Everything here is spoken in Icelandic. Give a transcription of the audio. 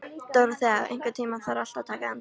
Dóróþea, einhvern tímann þarf allt að taka enda.